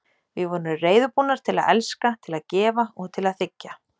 Við vorum reiðubúnar til að elska, til að gefa og til að þiggja.